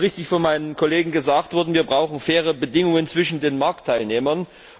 Es ist von meinem Kollegen richtig gesagt worden Wir brauchen faire Bedingungen zwischen den Marktteilnehmern.